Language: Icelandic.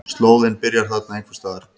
Slóðinn byrjar þarna einhvers staðar.